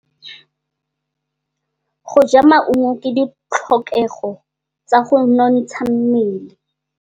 Go ja maungo ke ditlhokegô tsa go nontsha mmele.